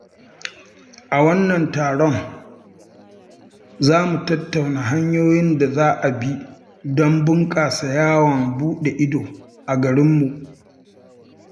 A wannan taron, za mu tattauna hanyoyin da za a bi don bunƙasa yawon buɗe ido a garinmu.